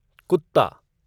कुत्ता